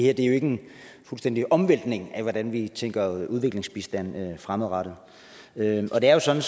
er jo ikke en fuldstændig omvæltning af hvordan vi tænker udviklingsbistand fremadrettet og det er jo sådan